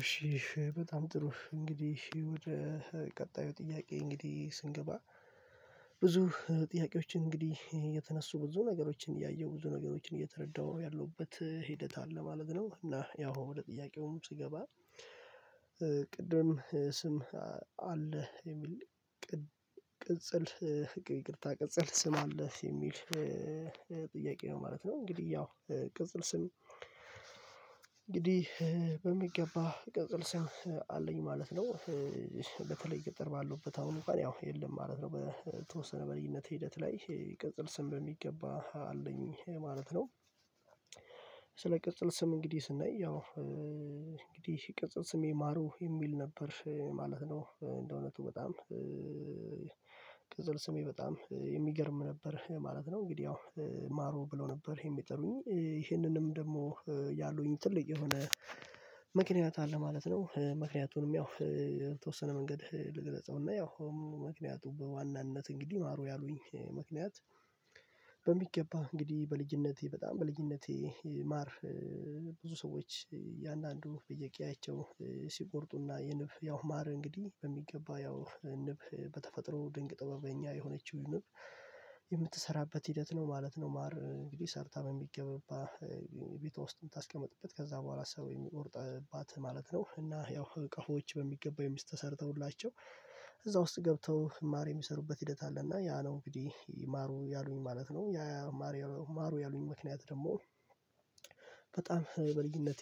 እሺ በጣም ጥሩ እንግዲህ ወደ ቀጣዩ ጥያቄ እንግዲህ ስንገባ ብዙ ጥያቄዎችን እንግዲህ የተነሱ ብዙ ነገሮችን እያየሁ ብዙ ነገሮችን እየተረዳሁ ያለሁበት ሂደት አለ ማለት ነው። እና ያው ወደ ጥያቄውም ስገባ ቅድም ስም አለህ የሚል ቅጽል ይቅርታ ቅጽል ስም አለህ የሚል ጥያቄ ነው ማለት ነው? እንግዲህ ያው ቅጽል ስም እንግዲህ በሚገባ ቅጽል ስም አለኝ ማለት ነው። በተለይ ገጠር ባለውበት አሁን አንክዋን ያው የለም ማለት ነው በተወሰነ በልዩነት ሂደት ላይ ቅጽል ስም በሚገባ አለኝ ማለት ነው። ስለ ቅጽል ስም እንግዲህ ስናይ ያው እንግዲህ ቅጽል ስሜ ማሩ የሚል ነበር ማለት ነው። እንደእውነቱ በጣም ቅጽል ስሜ በጣም የሚገርም ነበር ማለት ነው። እንግዲህ ያው ማሩ ብለው ነበር ይሄን የሚጠሩኝ ይሄንንም ደግሞ ያሉኝ ትልቅ የሆነ ምክንያት አለ ማለት ነው። ምክንያቱንም ያው በተወሰነ መንገድ ልግለጸውና ያው ምክንያቱ በዋናነት እንግዲህ ማሩ ያሉኝ ምክንያት በሚገባ እንግዲህ በልጅነቴ በጣም በልጅነቴ ማር ብዙ ሰዎች እንዳንዱ በየቄያቸው ሲቆርጡና የንብ ያው ማር እንግዲህ በሚገባ ያው ንብ በተፈጥሮ ድንቅ ጥበበኛ የሆነችው ንብ የምትሰራበት ሂደት ነው ማለት ነው። ማር እንግዲህ ሰርታ በሚገባ ቤቷ ውስጥ የምታስቀምጥበት ከዛ በኋላ ሰው የሚቆርጥባት ማለት ነው እና ያው እቃዎች በሚገባው ተሰርተውላቸው እዛ ውስጥ ገብተው ማር የሚሰሩበት ሂደት አለ እና ያ ነው እንግዲህ ማሩ ያሉኝ ማለት ነው። ያ ማር ማሩ ያሉኝ ምክንያት ደግሞ በጣም በልጅነቴ